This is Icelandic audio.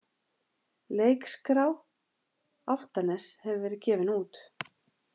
Leikskrá Álftaness hefur verið gefin út.